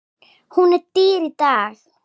Hún er dýr í dag.